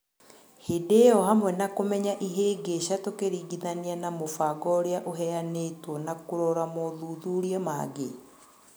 Hĩndĩ ĩyo hamwe nakũmenya ihĩngica tũkĩringithania na mũbango ũrĩa ũheyanĩtwo na kũrora mothuthuria mangĩ.